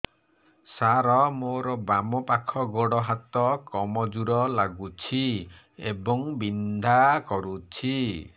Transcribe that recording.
ସାର ମୋର ବାମ ପାଖ ଗୋଡ ହାତ କମଜୁର ଲାଗୁଛି ଏବଂ ବିନ୍ଧା କରୁଛି